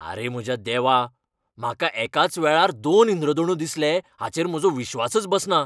आरे म्हज्या देवा, म्हाका एकाच वेळार दोन इंद्रधोणू दिसले हाचेर म्हजो विश्वासच बसना!